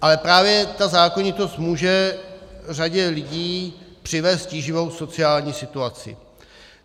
Ale právě ta zákonitost může řadě lidí přinést tíživou sociální situaci.